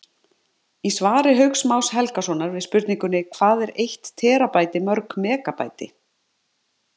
Í svari Hauks Más Helgasonar við spurningunni Hvað er eitt terabæti mörg megabæti?